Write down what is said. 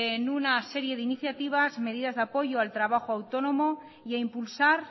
en una serie de iniciativas medidas de apoyo al trabajo autónomo y a impulsar